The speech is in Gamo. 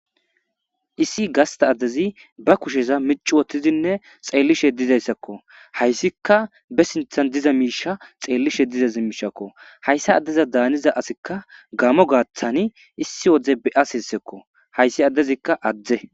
Issi gasita addezi ba kusheza micci wothidinne xellishe dizayissako. Hayisika be sinthani diza misha xelishe hayissa adeza danida assi gamo gathani issi wode beyasiko hayisi adezi adde